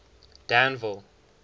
danville